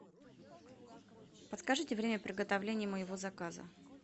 подскажите время приготовления моего заказа